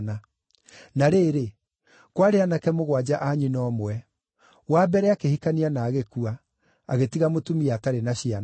Na rĩrĩ, kwarĩ aanake mũgwanja a nyina ũmwe. Wa mbere akĩhikania na agĩkua, agĩtiga mũtumia atarĩ na ciana.